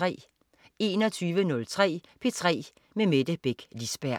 21.03 P3 med Mette Beck Lisberg